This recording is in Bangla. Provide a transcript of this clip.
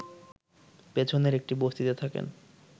পেছনের একটি বস্তিতে থাকেন